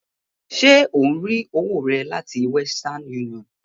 Ṣe ò ń rí owó rẹ láti western union?